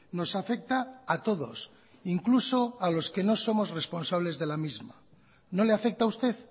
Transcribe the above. nos afecta a todos incluso a los que no somos responsables de la misma no le afecta a usted